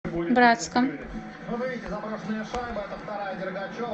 братском